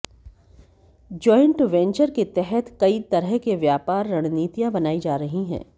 joint venture के तहत कई तरह के व्यापार रणनीतियां बनाई जा रही हैं